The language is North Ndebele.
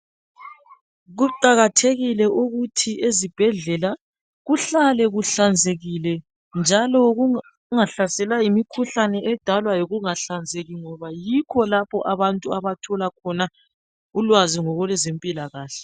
Kuqakathekile ukuthi ezibhedlela kuhlale kuhlanzekile njalo kungahlaselwa yimikhuhlane edalwa yikungahlanzeki ngoba yikho lapho abantu abathola khona ulwazi ngokwezempilakahle